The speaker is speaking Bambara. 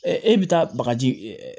e bɛ taa bagaji